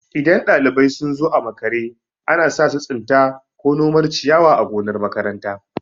In ɗalibai sun zo makaranta a makare, ana sa su tsinta ko nomar ciyawa a gonar makaranta.